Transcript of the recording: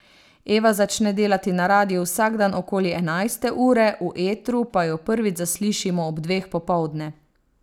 Eva začne delati na radiu vsak dan okoli enajste ure, v etru pa jo prvič zaslišimo ob dveh popoldne.